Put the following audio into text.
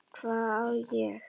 Hvað á ég?